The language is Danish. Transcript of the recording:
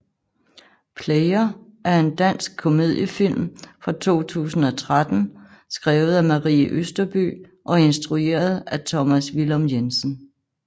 Player er en dansk komediefilm fra 2013 skrevet af Marie Østerbye og instrueret af Tomas Villum Jensen